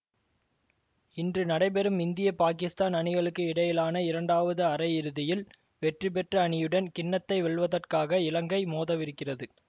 இன்று நடைபெறும் இந்திய பாகிஸ்தான் அணிகளுக்கு இடையிலான இரண்டாவது அரையிறுதியில் வெற்றிபெற்ற அணியுடன் கிண்ணத்தை வெல்வதற்காக இலங்கை மோதவிருக்கிறது